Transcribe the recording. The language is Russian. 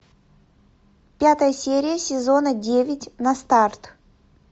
пятая серия сезона девять на старт